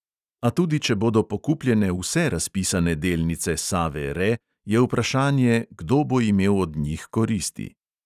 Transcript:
A tudi če bodo pokupljene vse razpisane delnice save re, je vprašanje, kdo bo imel od njih koristi.